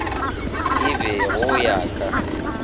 e be go ya ka